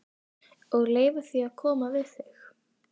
Og leyfa því að koma við mig.